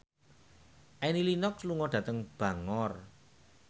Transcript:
Annie Lenox lunga dhateng Bangor